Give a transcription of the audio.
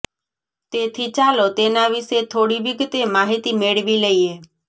તેથી ચાલો તેના વિશે થોડી વિગતે માહિતી મેળવી લઇએ